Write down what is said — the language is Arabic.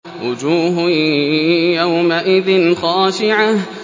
وُجُوهٌ يَوْمَئِذٍ خَاشِعَةٌ